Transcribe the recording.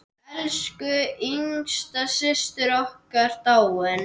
Elsku yngsta systir okkar dáin.